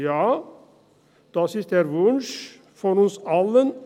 Ja, das ist der Wunsch von uns allen.